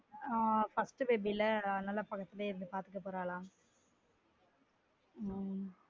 ஆஹ் first baby ல அதுனால பக்கத்துலே இருந்து பார்த்துக்க போறாலான் உம்